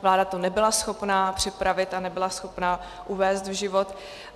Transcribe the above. Vláda to nebyla schopna připravit a nebyla schopna uvést v život.